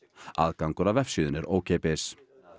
aðgangur að vefsíðunni er ókeypis